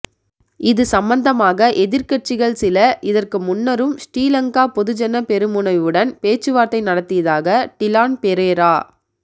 இது சம்பந்தமாக எதிர்க்கட்சிகள் சில இதற்கு முன்னரும் ஶ்ரீலங்கா பொதுஜன பெரமுனவுடன் பேச்சுவார்த்தை நடத்தியதாக டிலான் பெரேரா